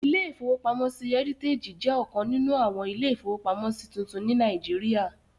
Ilé-ìfowópamọ́sí Heritage jẹ́ ọ̀kan nínú àwọn ilé-ìfowópamọ́sí tuntun ní Nàìjíríyà